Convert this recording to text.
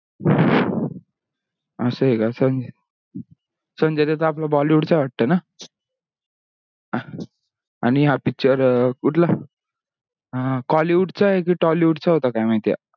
असा हे का चल. संजय दत्त आपला bollywood चा आहे वाटतो ना. अह आणि हा picture कुठला अह kollywood चा हे की tollywood चा होता काय माहिती आता